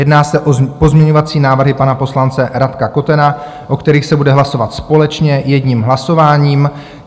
Jedná se o pozměňovací návrhy pana poslance Radka Kotena, o kterých se bude hlasovat společně jedním hlasováním.